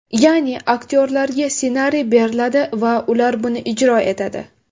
Ya’ni, aktyorlarga ssenariy beriladi va ular buni ijro etadi.